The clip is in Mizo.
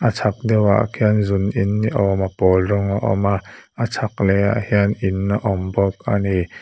chak deuh ah khian zun in ni awm a pawl rawng a awm a a chhak leh ah hian in a awm bawk a ni.